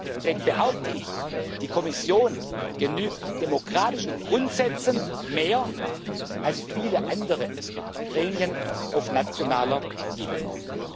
Deswegen behaupte ich, die Kommission genügt demokratischen Grundsätzen mehr als viele andere Gremien auf nationaler Ebene.